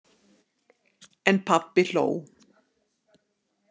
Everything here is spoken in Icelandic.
En pabbi hló.